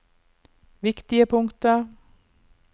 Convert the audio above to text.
viktige punkter